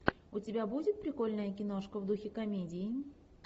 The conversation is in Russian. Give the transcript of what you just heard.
у тебя будет прикольная киношка в духе комедии